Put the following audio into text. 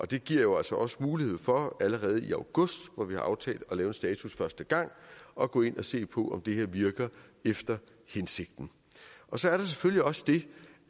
det giver jo altså også mulighed for allerede i august hvor vi har aftalt at lave en status første gang at gå ind og se på om det her virker efter hensigten så er der selvfølgelig også det